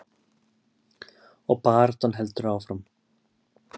Og baráttan heldur áfram.